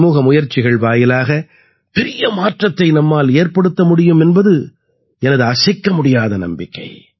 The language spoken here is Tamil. சமூக முயற்சிகள் வாயிலாக பெரிய மாற்றத்தை நம்மால் ஏற்படுத்த முடியும் என்பது எனது அசைக்க முடியாத நம்பிக்கை